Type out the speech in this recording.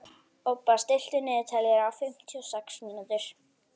Obba, stilltu niðurteljara á fimmtíu og sex mínútur.